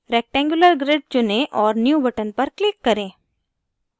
rectangular grid चुनें और new button पर click करें